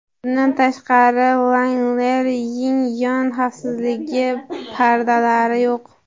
Bundan tashqari, Wrangler’ning yon xavfsizlik pardalari yo‘q.